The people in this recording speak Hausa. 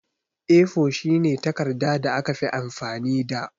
A4 shine takarɗa da aka fi amfani da.